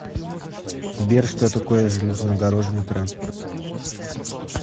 сбер что такое железнодорожный транспорт